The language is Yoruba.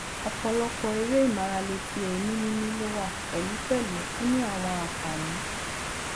opolopo ere imarale ti eemi mimi lowa pelupelu o ni awon anfani